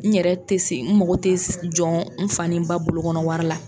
N yɛrɛ tɛ se n mago tɛ jɔ n fa ni n ba bolokɔnɔ wari la.